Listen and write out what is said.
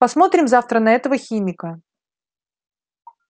посмотрим завтра на этого химика